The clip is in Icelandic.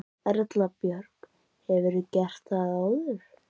Erla Björg: Hefurðu gert það áður?